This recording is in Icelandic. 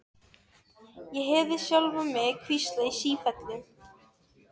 Ég heyrði sjálfa mig hvísla í sífellu